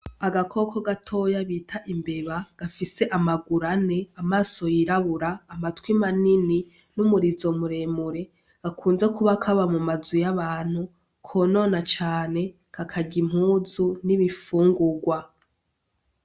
Agakoko gatoya bita imbeba gafise amaguru ane amaso yirabura amatwi manini n'umurizo muremure gakunze kuba kaba mu mazu y'abantu konona cane kakarya impuzu n'ibifungurwa.